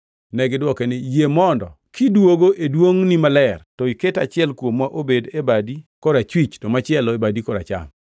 Negidwoke niya, “Yie mondo kidwogo e duongʼni maler to iket achiel kuomwa obed e badi korachwich to machielo e badi koracham.”